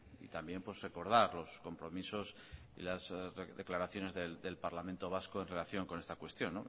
y también recordar los compromisos y las declaraciones del parlamento vasco en relación con esta cuestión